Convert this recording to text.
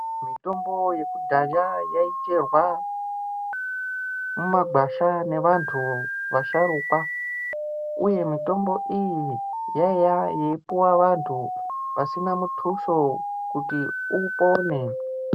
Mitombo yekudhaya yaicherwa mumagwasha ngevantu vasharukwa uye mitombo iyi yaiva yaipuwa vantu vasina muthuso kuti upone .